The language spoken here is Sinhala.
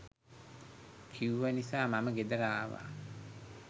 කිව්ව නිසා මම ගෙදර ආවා.